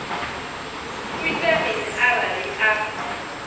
u ita mini arali a